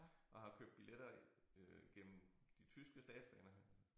Og har købt biletter øh gennem de tyske statsbaner